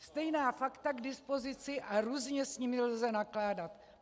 Stejná fakta k dispozici a různě s nimi lze nakládat.